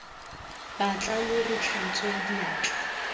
batla lo re tlhatswe diatla